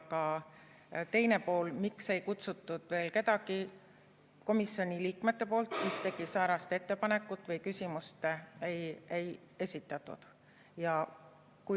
Aga teine pool, miks ei kutsutud veel kedagi – komisjoni liikmete poolt ühtegi säärast ettepanekut või küsimust ei esitatud.